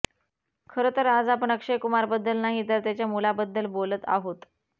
खरं तर आज आपण अक्षय कुमारबद्दल नाही तर त्याच्या मुलाबद्दल बोलत आहोत